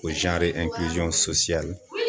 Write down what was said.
O zanri ɛnkiliziyɔn sosiyali